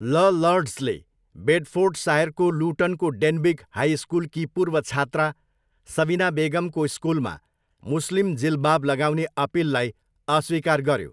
ल लर्ड्सले बेडफोर्डसायरको लुटनको डेनबिग हाई सकुलकी पूर्व छात्रा सबिना बेगमको स्कुलमा मुस्लिम जिल्बाब लगाउने अपिललाई अस्वीकार गऱ्यो।